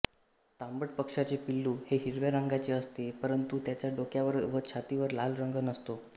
तांबट पक्ष्याचे पिल्लू हे हिरव्या रंगाचे असते परंतु त्याच्या डोक्यावर व छातीवर लाल रंग नसतो